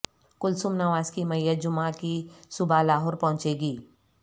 کلثوم نواز کی میت جمعہ کی صبح لاہور پہنچے گی